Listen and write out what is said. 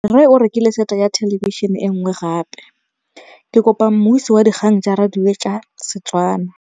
Rre o rekile sete ya thêlêbišênê e nngwe gape. Ke kopane mmuisi w dikgang tsa radio tsa Setswana.